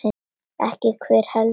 Ekki hver, heldur hvað.